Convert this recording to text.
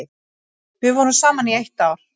Við vorum saman í eitt ár.